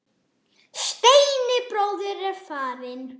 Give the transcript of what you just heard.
Steini bróðir er farinn.